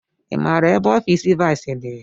I maara ebe ofiisi viisii dị?